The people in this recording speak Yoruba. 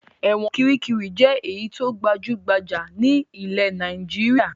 Ẹ̀wọ̀n Kiríkirì jẹ́ èyí tó gbajú-gbajà ní ilẹ̀ Nàìjíríà.